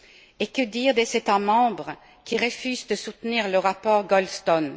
Et que dire des États membres qui refusent de soutenir le rapport Goldstone?